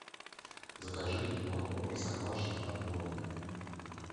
закажи молоко простоквашино отборное